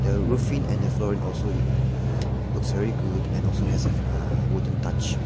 the roofing and the flooring also y looks very good and also has a uh wooden touch.